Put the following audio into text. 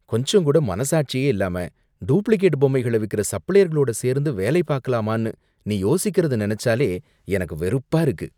கொஞ்சம் கூட மனசாட்சியே இல்லாம டூப்ளிகேட் பொம்மைகளை விக்குற சப்ளையர்களோட சேர்ந்து வேலை பாக்கலாமானு நீ யோசிக்கிறதை நினைச்சாலே எனக்கு வெறுப்பா இருக்கு.